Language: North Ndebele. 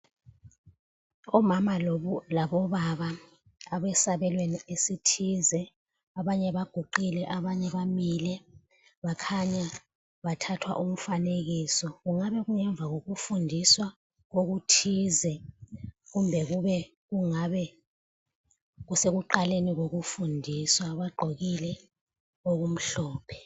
Omama labobaba abesabelweni esithize abanye baguqile abanye bamile bakhanya bathathwa umfanekiso kungabe kungemva kokufundiswa okuthize kumbe kungabe sekuqaleni kokufundiswa bagqokile okumhlophe.